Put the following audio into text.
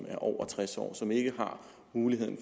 er over tres år som ikke har muligheden